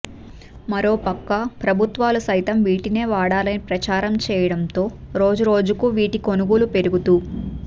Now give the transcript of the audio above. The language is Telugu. మరోపక్క ప్రభుత్వాలు సైతం వీటినే వాడాలని ప్రచారం చేయడం తో రోజు రోజుకు వీటి కొనుగోలు పెరుగుతూ